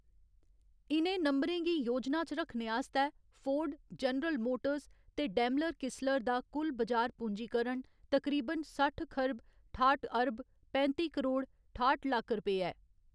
इ'नें नंबरें गी योजना च रखने आस्तै, फोर्ड, जनरल मोटर्स ते डेमलर किसलर दा कुल बजार पूँजीकरण तकरीबन सट्ठ खरब ठाठ अरब पैंत्ती करोड़ ठाठ लक्ख रपेऽ ऐ।